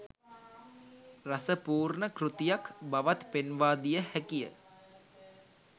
රස පූර්ණ කෘතියක් බවත් පෙන්වාදිය හැකිය